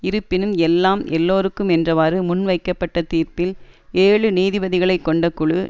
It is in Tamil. இருப்பினும் எல்லாம் எல்லோருக்கும் என்றவாறு முன்வைக்கப்பட்ட தீர்ப்பில் ஏழு நீதிபதிகளை கொண்ட குழு